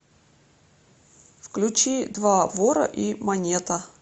включи два вора и монета